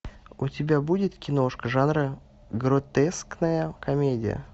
у тебя будет киношка жанра гротескная комедия